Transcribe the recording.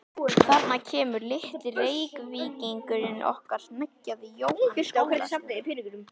Þarna kemur litli Reykvíkingurinn okkar hneggjaði Jóhann skólastjóri.